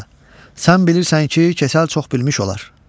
Paşa, sən bilirsən ki, Keçəl çox bilmiş olar.